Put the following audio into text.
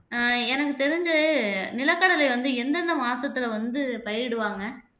ஆஹ் எனக்கு தெரிஞ்சு நிலக்கடலை வந்து எந்தெந்த மாசத்துல வந்து பயிரிடுவாங்க